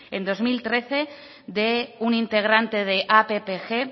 en dos mil trece de un integrante de appg